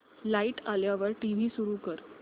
light आल्यावर TV सुरू कर